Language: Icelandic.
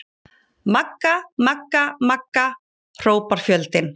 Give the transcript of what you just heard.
Magga-magga-magga, hrópar fjöldinn.